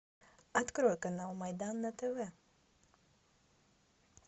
открой канал майдан на тв